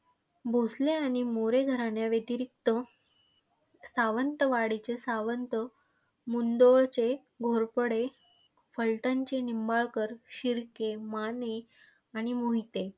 भोसले आणि मोरे घराण्याव्यतिरिक्त सावंतवाडीचे सावंत, मुंदोळचे घोरपडे, फलटणचे निंबाळकर, शिर्के, माने आणि मोहिते.